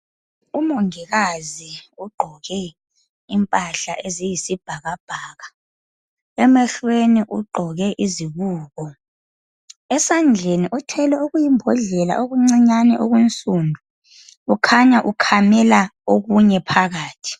Umongikazi ogqoke impahla eziyisibhakabhaka emehlweni ugqoke izibuko, esandleni uthwele okuyimbodlela okuncinyane okunsundu ukhanya ukhamela okunye phakathi.